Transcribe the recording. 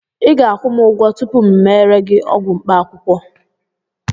ị ga-akwụ m ụgwọ tupu m emere gị ọgwụ mkpaakwụkwọ